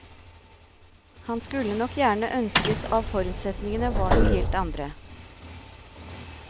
Han skulle nok gjerne ønsket av forutsetningene var noen helt andre.